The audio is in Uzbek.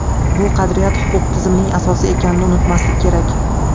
Bu qadriyat huquq tizimining asosi ekanini unutmaslik kerak.